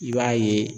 I b'a ye